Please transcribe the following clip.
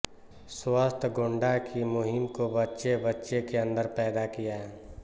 स्वस्थ गोंडा की मुहीम को बच्चे बच्चे के अंदर पैदा किया